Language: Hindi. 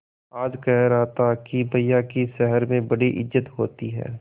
आज कह रहा था कि भैया की शहर में बड़ी इज्जत होती हैं